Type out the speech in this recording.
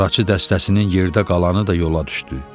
Qaraçı dəstəsinin yerdə qalanı da yola düşdü.